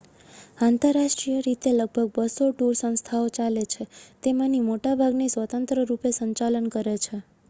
આંતરરાષ્ટ્રીય રીતે લગભગ 200 ટૂર સંસ્થાઓ ચાલે છે તેમાંની મોટાભાગની સ્વતંત્ર રૂપે સંચાલન કરે છે